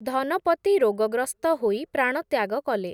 ଧନପତି, ରୋଗଗ୍ରସ୍ତ ହୋଇ, ପ୍ରାଣତ୍ୟାଗ କଲେ ।